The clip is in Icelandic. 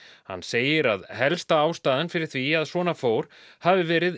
hann segir að helsta ástæðan fyrir því að svona fór hafi verið